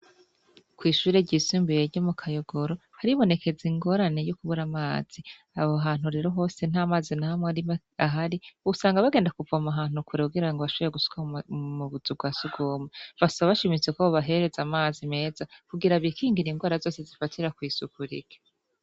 Kw'ishure ryisumbuye ryo mu Kayogoro haribonekeza ingorane yo kubura amazi. Aho hantu rero hose ntamazi na hamwe ahari, usanga bagenda kuvoma ahantu kure kugira bashobore gusuka mu buzu bwa surwumwe. Basaba bashimitse ko bobahereza amazi meza kugira bikingire ingwara zose zifatira kw'isuku rike.